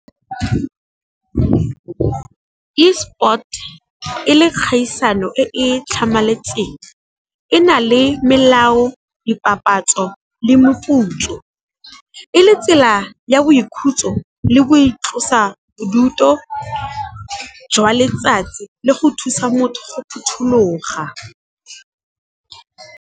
E-sport e le kgaisano e e tlhamaletseng, e na le melao, dipapatso le moputso. E le tsela ya boikhutso le go itlosa bodutu jwa letsatsi le go thusa motho go phuthuloga.